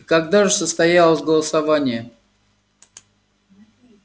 и когда же состоялось голосование